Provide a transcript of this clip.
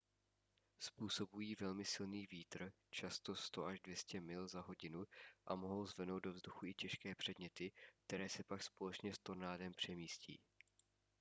způsobují velmi silný vítr často 100–200 mil za hodinu a mohou zvednout do vzduchu i těžké předměty které se pak společně s tornádem přemístí